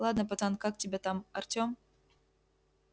ладно пацан как тебя там артем